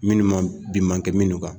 Minnu man bi mankɛ minnu kan